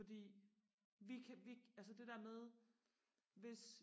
fordi vi kan vi altså det der med hvis